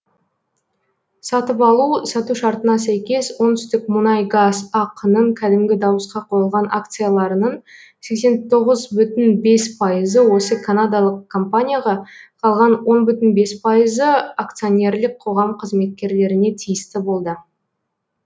сатып алу сату шартына сәйкес оңтүстікмунайгаз ақ ның кәдімгі дауысқа қойылған акцияларының сексен тоғыз бүтін бес пайызы осы канадалық компанияға қалған он бүтін бес пайызы акционерлік қоғам қызметкерлеріне тиісті болды